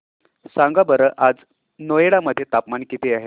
सांगा बरं आज नोएडा मध्ये तापमान किती आहे